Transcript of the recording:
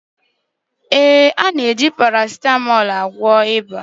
ee, a na-eji paracetamol eme ọgwụ ịba